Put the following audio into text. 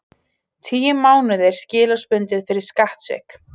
Tíu mánuðir skilorðsbundið fyrir skattsvik